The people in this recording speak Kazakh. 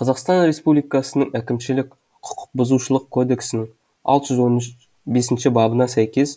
қазақстан республикасының әкімшілік құқық бұзушылық кодексінің алты жүз он бесінші бабына сәйкес